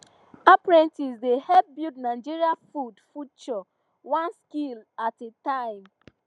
apprentices dey help build nigeria food future one skill at a time